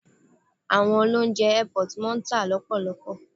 Àwọn oloúnjẹ airport máa ń tà lọ́pọ̀lọpọ.